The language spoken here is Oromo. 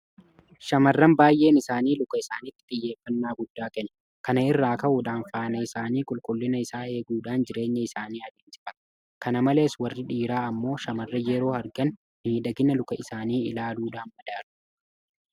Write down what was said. Shaamarran baay'een isaanii luka isaaniitiif xiyyeeffannaa guddaa kennu. Kana irraa ka'uudhaan Faana isaanii qulqullina isaa eeguudhaan jireenya isaanii adeemsifatu. Kana malees warri dhiiraa immoo shaamarran yeroo argan miidhagina luka isaanii ilaaluudhaan madaalu.